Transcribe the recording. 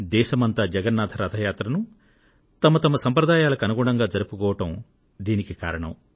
దేశమంతా జగన్నాథ రథ యాత్రను తమ తమ సంప్రదాయాలకు అనుగుణంగా జరుపుకోవడం దీనికి కారణం